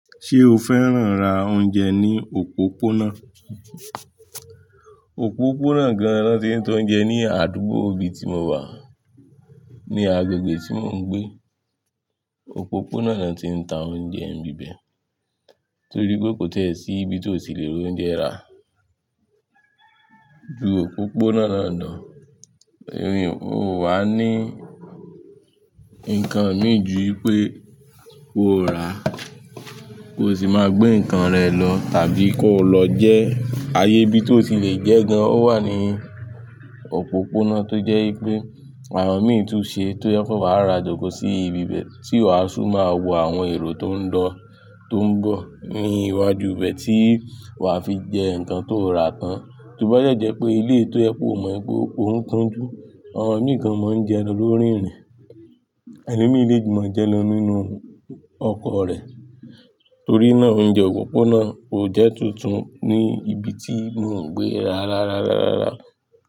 Ṣé o fẹ́ràn ra oúnjẹ ní òpópónà? Òpópónà gan-an ni won ti ń ta oúnjẹ ní àdúgbò ibi tí mo wà. Ni agbègbè tí mò ń gbé, òpópónà ni wọ́n ti ń ta oúnjẹ ní ibẹ̀ torí pé kò tiẹ́ sí ibi tó ti lè rí oúnjẹ rà. Ju òpópónà náà lọ, ò wá ní nǹkan mì ju wípé o rà, ko sì máa gbé nǹkan rẹ lọ tàbí kó lọ jẹ. Ayé ibi tó ti lè jẹ gan-an wà ní òpópónà tó jẹ́ pé àwọn mì tún ṣe tó yẹ kó wà ra jòkó sí ibi bẹ́ẹ̀ tí wà á tun máa wo àwọn èrò tó ń lọ, tó ń bọ̀ ní iwájú ibẹ tí wà á fi jẹ nǹkan tó rà tán. Tóbájọ́dẹ́ jẹ́ pé eléyi tó jẹ pe o mọ̀ pe ó ń kúnjú, àwọn mì gan máa ń jẹ lọ lórí ìrìn, ẹni mìí lè maa jẹ́ lọ nínú ọkọ̀ rẹ̀. Torí náà, oúnjẹ òpópónà kò jẹ́ tuntun ní ibi tí mò ń gbé rárá rárá rárá.